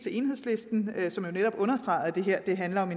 enhedslisten som jo netop understregede at det her handler om